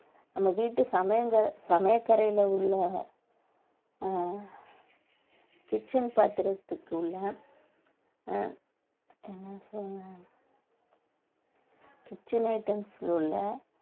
நம்ம வீட்டு சமைல்கள் சமையற்கரையில உள்ள அஹ் kitchen பாத்திரத்துக்குள்ள அஹ் என்ன சொல்லணும் kitchen items ல உள்ள